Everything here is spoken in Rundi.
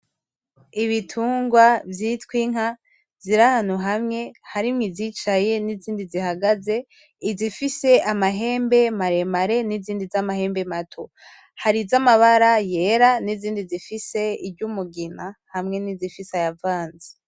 Ibitungwa vyitwa inka, ziri ahantu hamwe, harimwo izicaye nizindi zihagaze. Izifise amahembe maremare nizindi zamahembe mato. Hari izamabara yera nizindi zifise iry'umugina hamwe nizifise ayavanze.